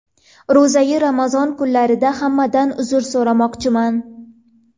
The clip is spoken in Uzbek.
Ro‘za-yu Ramazon kunlarida hammadan uzr so‘ramoqchiman.